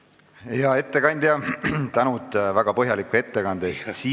Hea ettekandja, suur tänu väga põhjaliku ettekande eest!